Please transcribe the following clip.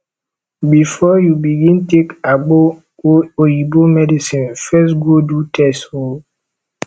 bifor yu begin take agbo or oyibo medicine first go do test o